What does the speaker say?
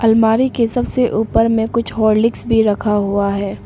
अलमारी के सबसे ऊपर में कुछ हॉर्लिक्स भी रखा हुआ है।